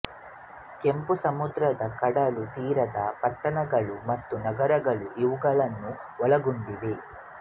ಕೆಂಪು ಸಮುದ್ರದ ಕಡಲ ತೀರದ ಪಟ್ಟಣಗಳು ಮತ್ತು ನಗರಗಳು ಇವುಗಳನ್ನು ಒಳಗೊಂಡಿವೆ